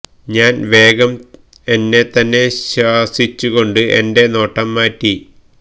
ഞാന് വേഗം എന്നെ തന്നെ ശാസിച്ചു കൊണ്ട് എന്റെ നോട്ടം മാറ്റി